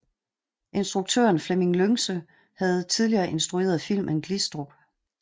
Instruktøren Flemming Lyngse havde tidligere instrueret filmen Glistrup